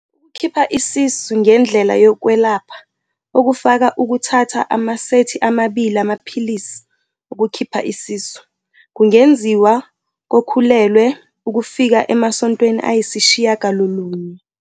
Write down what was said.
Ukukhipha isisu ngendlela yokwelapha, okufaka ukuthatha amasethi amabili amaphilisi ukukhipha isisu, kungenziwa kokhulelwe ukufika emasontweni ayisishiyagalolunye.